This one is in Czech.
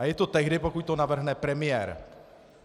A je to tehdy, pokud to navrhne premiér.